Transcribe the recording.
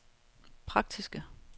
praktiske